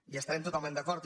hi estarem totalment d’acord